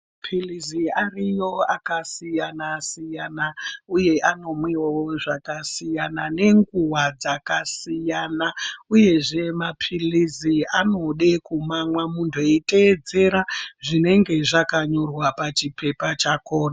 Pilizi ariyo akasiyana siyana uye anomwiwewo zvakasiyana nenguwa dzakasiyana uyezve mapiliz anode kamwa muntu eitedzera zvinenge zvakanyorwa pachipepa chakhona.